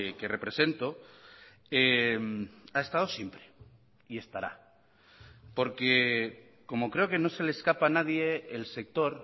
que represento ha estado siempre y estará porque como creo que no se le escapa a nadie el sector